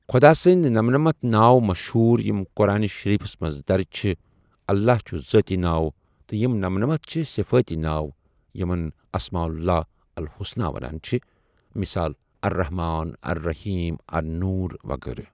خدا سٕنٛد نمَنَمتھ ناو مَشہوٗر یِم قرآن شٕریٖفَس مَنٛز دَرٕج چھِ اللہ چھُ ذٲتی ناو تہٕ یِم نمَنَمتھ چھِ صِفٲتی ناو یِمَن أسماء اللہ الحسنى وَنان چھِ مِثال الرحمٰن، الرحیم، النور وغیرہ